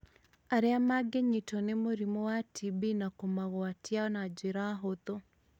arĩa mangĩnyitwo nĩ mũrimũ wa TB na kũmagwatia na njĩra hũthũ.